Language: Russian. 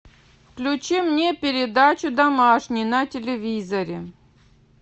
включи мне передачу домашний на телевизоре